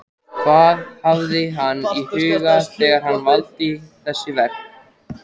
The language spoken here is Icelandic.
Hvað hafði hann í huga þegar hann valdi þessi verk?